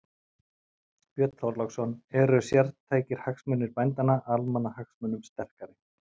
Björn Þorláksson: Eru sértækir hagsmunir bændanna, almannahagsmunum sterkari?